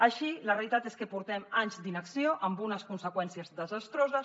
així la realitat és que fa anys d’inacció amb unes conseqüències desastroses